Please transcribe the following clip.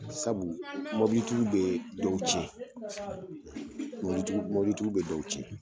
Sabu mɔbilitigiw bɛ dɔw tiɲɛn; ; mɔbilitigiw; mobilitigiw bɛ dɔw tignɛn.